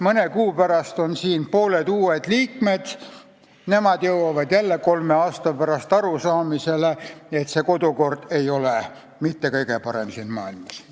Mõne kuu pärast on siin pooled liikmed uued, nemad jõuavad jälle kolme aasta pärast arusaamisele, et see kodukord ei ole mitte kõige parem siin maailmas.